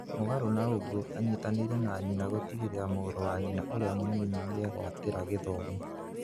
Mũgarũ na ũguo anyitanĩire na nyina gũtigĩrĩra mũrũ wa nyina ũrĩa mũnini nĩegpwatĩra gĩthomo.